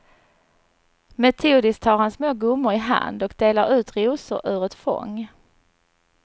Metodiskt tar han små gummor i hand och delar ut rosor ur ett fång.